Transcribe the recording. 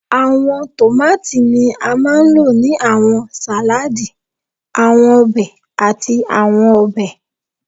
Awọn tomati ni a maa n lo ni awọn saladi, awọn obe, ati awọn ọbẹ